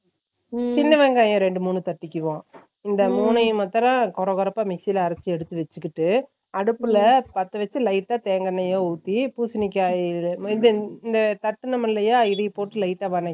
சின்ன வெங்காயம் ரெண்டு மூணு தட்டிக்குவோம் இந்த மூனைய மட்டும் கொரகொரகறப்பா mixie ல அரைச்சு எடுத்து வெச்சுக்கிட்டு அடுப்புல பத்த வெச்சு lite அ தேங்கா என்னையா உத்தி பூசினிக்காய் அஹ் இது தட்டுனம்லைய இதைய போட்டு lite அ வதக்கி